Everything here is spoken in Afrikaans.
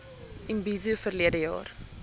imbizo verlede jaar